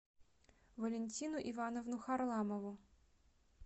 валентину ивановну харламову